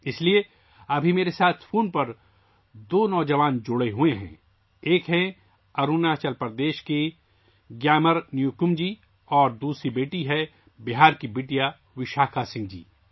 اس لیے ابھی میرے ساتھ فون پر دو نوجوان جڑے ہوئے ہیں ایک اروناچل پردیش سے گیامر نیوکُم جی اور دوسری بیٹی ہے ، بہار کی بٹیا کی وشاکھا سنگھ جی